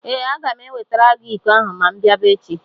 Ee, aga m ewetara gị iko ahụ ma m bịaba echi.